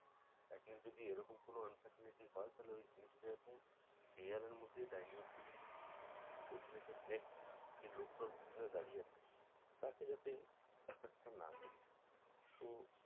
atlist যদি এরকম কোনো uncertainty হয় তাহলে ওই জিনিসটা আছে clear এর মধ্যেই dilute হয়ে যাবে ঐটা যাতে next লোকটা ওর পিছনে দাঁড়িয়ে আছে তাকে যাতে ব্যাপারটা না করি তো